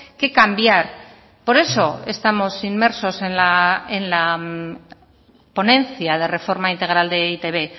que cambiar por eso estamos inmersos en la ponencia de reforma integral de e i te be